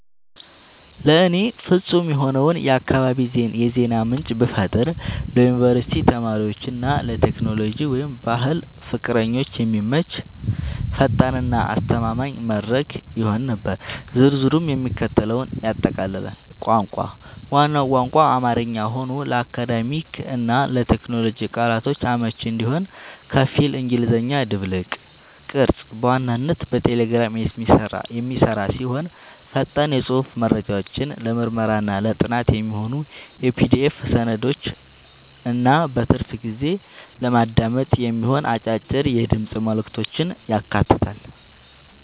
ለእኔ ፍጹም የሆነውን የአካባቢ የዜና ምንጭ ብፈጥር ለዩኒቨርሲቲ ተማሪዎች እና ለቴክኖሎጂ/ባህል ፍቅረኞች የሚመች፣ ፈጣን እና አስተማማኝ መድረክ ይሆን ነበር። ዝርዝሩም የሚከተለውን ያጠቃልላል - ቋንቋ፦ ዋናው ቋንቋ አማርኛ ሆኖ፣ ለአካዳሚክ እና ለቴክኖሎጂ ቃላቶች አመቺ እንዲሆን ከፊል እንግሊዝኛ ድብልቅ። ቅርጸት፦ በዋናነት በቴሌግራም የሚሰራ ሲሆን፣ ፈጣን የጽሑፍ መረጃዎችን፣ ለምርምርና ጥናት የሚሆኑ የPDF ሰነዶችን እና በትርፍ ጊዜ ለማዳመጥ የሚሆኑ አጫጭር የድምፅ መልዕክቶችን ያካትታል።